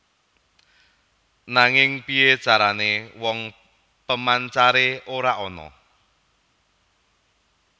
Nanging piyé carané wong pemancare ora ana